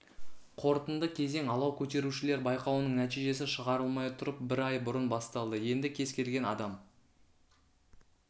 қорытынды кезең алау көтерушілер байқауының нәтижесі шығарылмай тұрып бір ай бұрын басталды енді кез келген адам